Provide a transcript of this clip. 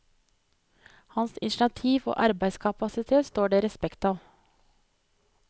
Hans initiativ og arbeidskapasitet står det respekt av.